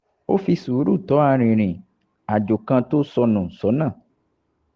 ó fi sùúrù tọ́ arìnrìn-àjò kan tó sọ nù sọ́nà